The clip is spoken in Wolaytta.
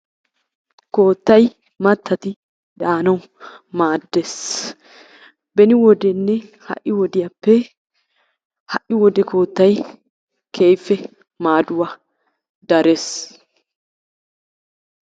koottay mattati daanawu maaddees. beeni wodenne ha'i wodiyaappe ha'i wode koottay keehippe maaduwaa darees.